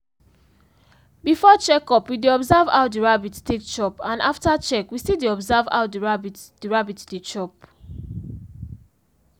before check up we dey observe how the rabbit take chop and after check we still dey observe how the rabbit the rabbit dey chop